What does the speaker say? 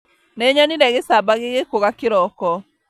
Nĩnyonire gĩcamba gĩgĩkũga kĩroko